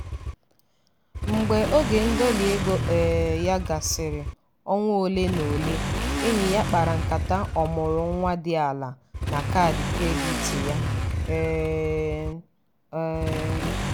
“mgbe oge ndọli ego um ya gasịrị ọnwa ole na ole enyi ya kpara nkata ọmụrụ nwa dị ala na kaadị kredit ya.” um um